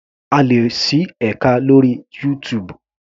A lè ṣí ẹka lórí YouTube.